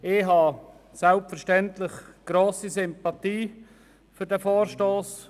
Ich habe selbstverständlich grosse Sympathie für den Vorstoss.